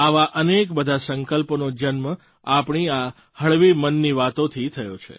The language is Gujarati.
આવા અનેક બધા સંકલ્પોનો જન્મ આપણી આ હળવી મનની વાતોથી થયો છે